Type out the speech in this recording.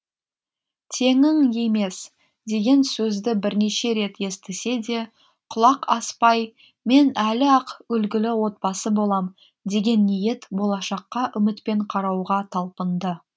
теңің емес деген сөзді бірнеше рет естісе де құлақ аспай мен әлі ақ үлгілі отбасы болам деген ниет болашаққа үмітпен қарауға талпынды